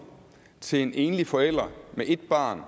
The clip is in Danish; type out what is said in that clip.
til en enlig forælder med et barn